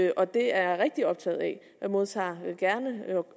og det er jeg rigtig optaget af jeg modtager gerne